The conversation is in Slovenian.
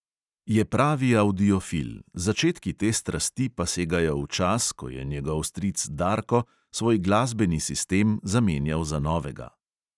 Je pravi avdiofil, začetki te strasti pa segajo v čas, ko je njegov stric darko svoj glasbeni sistem zamenjal za novega.